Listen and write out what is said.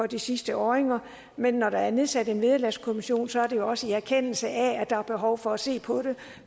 de sidste år men når der er nedsat en vederlagskommission er det jo også i erkendelse af at der er behov for at se på det